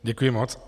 Děkuji moc.